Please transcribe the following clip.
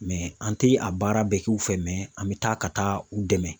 an tɛ a baara bɛɛ k'u fɛ mɛ an bɛ taa ka taa u dɛmɛ.